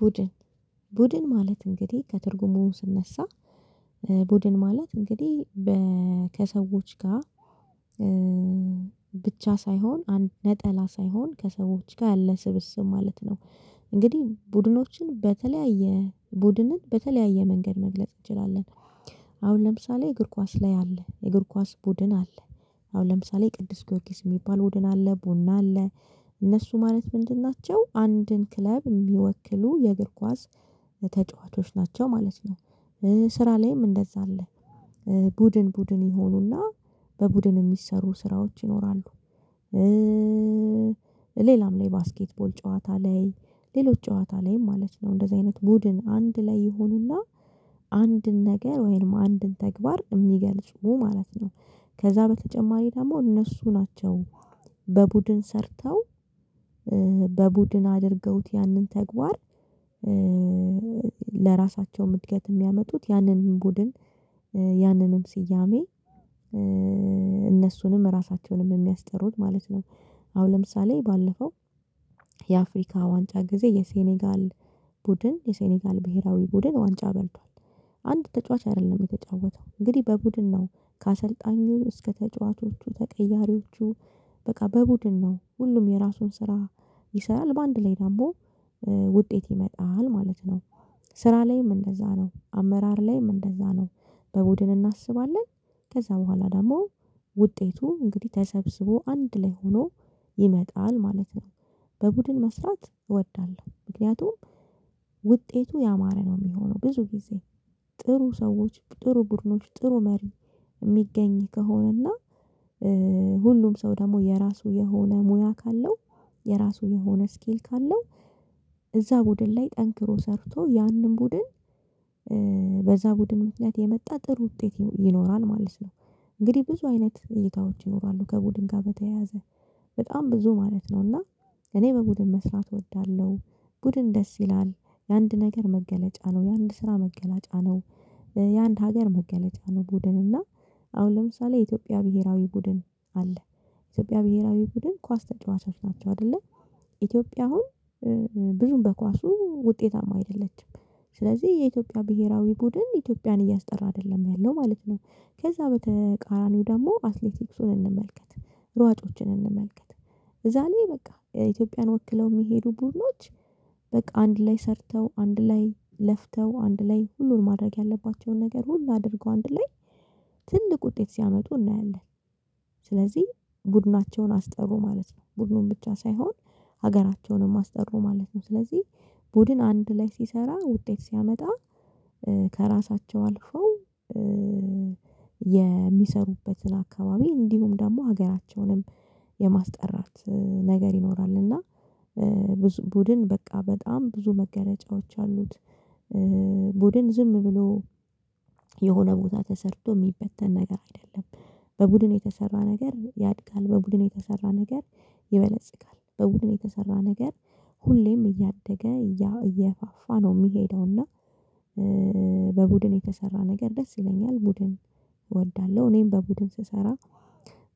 ቡድን ቡድን ማለት እንግዲህ ከትርጉሙ ስነሳ ቡድን ማለት እንግዲህ ከሰዎች ጋር ብቻ ሳይሆን ነጠላ ሳይሆን ከሰዎች ጋር ያለ ስብስብ ማለት ነው። እንግዲህ ቡድኖችን በተለያየ ቡድንን በተለያየ መንገድ መግለጽ እንችላለን። አሁን ለምሳሌ እግር ኳስ ላይ አለ እግር ኳስ ቡድን አለ። አሁን ለምሳሌ ቅዱስ ጊዮርጊስ የሚባል ቡድን አለ ቡና አለ። እነሱ ማለት ምንድን ናቸው አንድን ክለብ የሚወክሉ የእግር ኳስ ተጫዋቾች ናቸው ማለት ነው። ስራ ላይም እንደዛ አለ ቡድን ቡድን ይሆኑና በቡድን የሚሰሩ ስራዎች ይኖራሉ። ሌላም ላይ ባስኬትቦል ጨዋታ ላይ ሌሎች ጨዋታ ላይ ማለት ነው እንደዚህ አይነት ቡድን አንድ ላይ ይሆኑና አንድ ነገር ወይም አንድን ተግባር እሚገልጽ ነው ማለት ነው። ከዛ በተጨማሪ ደግሞ እነሱ ናቸው በቡድን ሰርተው በቡድን አድርገውት ያንን ተግባር ለራሳቸውም እድገት የሚያመጡት ያንን ቡድን ያንንም ስያሜ እነሱንም ራሳቸውንም የሚያስጠሩት ማለት ነው። አሁን ለምሳሌ ባለፈው የአፍሪካ ዋንጫ ጊዜ የሴኔጋል ቡድን የሴኔጋል ብሄራዊ ቡድን ዋንጫ በልቷል። አንድ ተጫዋች አይደለም የተጫወተው እንግዲህ በቡድን ነው ከአሰልጣኙ እስከ ተጫዋቾቹ ተቀያሪዎቹ በቃ በቡድን ነው ሁሉም የራሱን ስራ ይሰራል በአንድ ላይ ደግሞ ውጤት ይመጣል ማለት ነው። ስራ ላይም እንደዛ ነው አመራር ላይም እንደዛ ነው በቡድን እናስባለን ከዛ በኋላ ደግሞ ውጤቱ እንግዲህ ተሰብስቦ አንድ ላይ ሆኖ ይመጣል ማለት ነው። በቡድን መስራት እወዳለሁ ምክንያቱም ውጤቱ ያማረ ነው የሚሆነው ብዙ ጊዜ ጥሩ ሰዎች ጥሩ ቡድኖች ጥሩ መሪ እሚገኝ ከሆነና ሁሉም ሰው ደግሞ የራሱ የሆነ ሙያ ካለው። የራሱ የሆነ ስኪል ካለው እዛ ቡድን ላይ ጠንክሮ ሰርቶ ያንን ቡድን በዛ ቡድን ምክኒያት የመጣ ጥሩ ውጤት ይኖራል ማለት ነው። እንግዲህ ብዙ አይነት ሁኔታዎች ይኖራሉ ከቡድን ጋር በተያያዘ በጣም ብዙ ማለት ነውና እኔ በቡድን መስራት እወዳለሁ። ቡድን ደስ ይላል የአንድ ነገር መገለጫ ነው የአንድ ስራ መገለጫ ነው። የአንድ ሀገር መገለጫ ነው ቡድን እና አሁን ለምሳሌ የኢትዮጵያ ብሄራዊ ቡድን አለ ኢትዮጵያ ብሄራዊ ቡድን ኳስ ተጫዋቾች ናቸው አይደለ ኢትዮጵያ አሁን ብዙም በኳሱ ውጤታማ አይደለችም። ስለዚህ የኢትዮጵያ ብሄራዊ ቡድን ኢትዮጵያን እያስጠራ አይደለም ያለው ማለት ነው። ከዛ በተቃራኒው ደግሞ አትሌቲክሱን እንመልከት ሯጮችን እንመልከት እዛ ላይ በቃ ኢትዮጵያን ወክለው ሚሄዱ ቡድኖች በቃ አንድ ላይ ሰርተው አንድ ላይ ለፍተው አንድ ላይ ሁሉን ማድረግ ያለባቸውን ነገር ሁላ አድርገው አንድ ላይ ትልቅ ውጤት ሲያመጡ እናያለን። ስለዚህ ቡድናቸውን አስጠሩ ማለት ነው ቡድኑን ብቻ ሳይሆን ሀገራቸውንም አስጠሩ ማለት ነው ስለዚህ ቡድን አንድ ላይ ሲሰራ ውጤት ሲያመጣ ከራሳቸው አልፈው የሚሰሩበትን አካባቢ እንዲሁም ደግሞ ሀገራቸውንም የማስጠራት ነገር ይኖራልና ብዙ ቡድን በቃ በጣም ብዙ መገለጫዎች አሉት። ቡድን ዝም ብሎ የሆነ ቦታ ተሰርቶ ሚበተን ነገር አይደለም። በቡድን የተሰራ ነገር ያድጋል በቡድን የተሰራ ነገር ይበለጽጋል በቡድን የተሰራ ነገር ሁሌም እያደገ እያፋፋ ነው የሚሄደው እና። በቡድን የተሰራ ነገር ደስ ይለኛል ቡድን እወዳለሁ እኔም በቡድን ስሰራ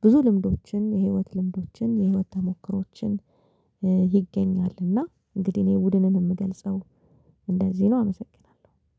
ብዙ ልምዶችን የህይወት ልምዶችን የህይወት ተሞክሮዎችን ይገኛልና እና እንግዲህ እኔ ቡድንን የምገልጸው እንደዚህ ነው አመሰግናለሁ